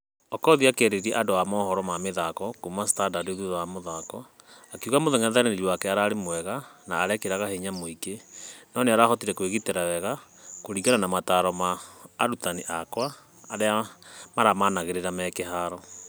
Okoth akĩarĩria andũ a mohoro ma mĩthako kuuma standard thutha wa mũthako akĩuga mũngethanĩri wale ararĩ mwega na agũĩkĩraga hinya mũinge. Nũ nĩarahotire kwĩgitera wega kũringana na mataro ma arutani akwa arĩ maramanĩrĩraga me........